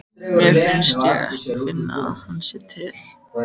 Mér finnst ég ekki finna að hann sé til.